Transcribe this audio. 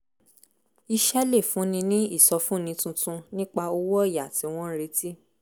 iṣẹ́ lè fúnni ní ìsọfúnni tuntun nípa owó ọ̀yà tí wọ́n ń retí